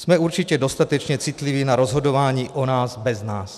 Jsme určitě dostatečně citliví na rozhodování o nás bez nás.